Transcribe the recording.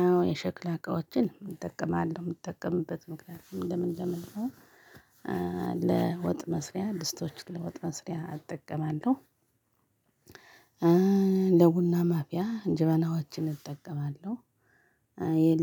አዎ የሸክላ እቃዎችን እጠቀማለሁ የምጠቀምበት ምክንያት ለምን ለምን ነው። ለወጥ መስሪያ ድስቶቹን ለወጥ መስሪያ እጠቀማለሁ። ለቡና ማፍያ ጀበናዎችን እጠቀማለሁ።